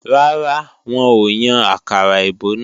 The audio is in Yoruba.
Rárá, wọn ò yàn àkàrà èbó náà